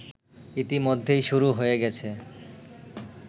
ইতিমধ্যেই শুরু হয়ে গেছে